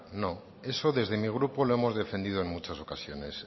no eso desde mi grupo lo hemos defendido en muchas ocasiones